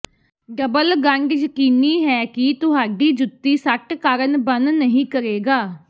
double ਗੰਢ ਯਕੀਨੀ ਹੈ ਕਿ ਤੁਹਾਡੀ ਜੁੱਤੀ ਸੱਟ ਕਾਰਨ ਬਣ ਨਹੀ ਕਰੇਗਾ